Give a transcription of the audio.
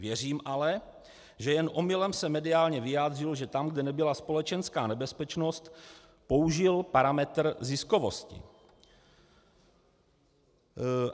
Věřím ale, že jen omylem se mediálně vyjádřilo, že tam, kde nebyla společenská nebezpečnost, použil parametr ziskovosti.